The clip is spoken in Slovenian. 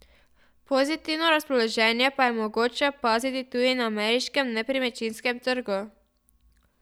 Pozitivno razpoloženje pa je mogoče opaziti tudi na ameriškem nepremičninskem trgu.